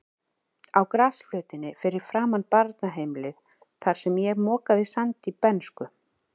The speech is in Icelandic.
Á grasflötinni fyrir framan barnaheimilið, þar sem ég mokaði sandi í bernsku.